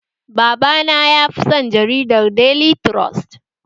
Baba na yafi son jaridar daily trust